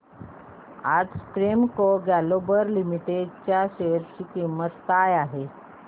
आज Premco Global Limited च्या share ची किंमत काय आहे